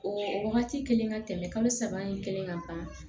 O wagati kelen ka tɛmɛ kalo saba in kelen kan